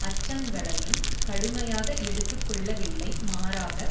அச்சங்களையும் கடுமையாக எடுத்துக்கொள்ளவில்லை மாறாக